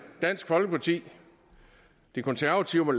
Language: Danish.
dansk folkeparti de konservative